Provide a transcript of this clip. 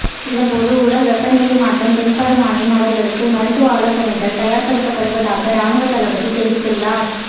இதன்போது உடல் வெப்பநிலையில் மாற்றம் தென்படுமாயின் அவர்களுக்கு மருத்துவ ஆலோசனைகள் தயார்படுத்தப்படுவதாக இராணுவத் தளபதி தெரிவித்துள்ளார்